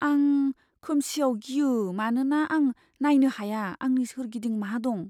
आं खोमसिआव गियो मानोना आं नायनो हाया आंनि सोरगिदिं मा दं।